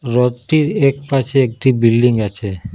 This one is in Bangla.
রথটির একপাশে একটি বিল্ডিং আছে।